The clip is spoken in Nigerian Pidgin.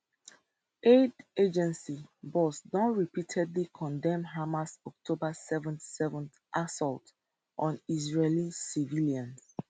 aid agency boss don repeatedly condemn hamas october 7th 7th assault on israeli civilians